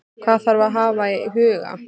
Hvað þarf að hafa í huga?